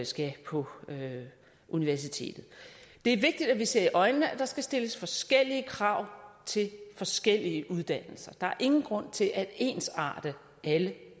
skal på universitetet det er vigtigt at vi ser i øjnene at der skal stilles forskellige krav til forskellige uddannelser der er ingen grund til at ensarte alle